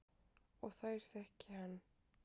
Og þær þekki hann.